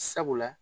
Sabula